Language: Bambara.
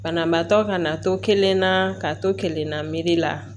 Banabaatɔ ka na to kelenna ka to kelenna la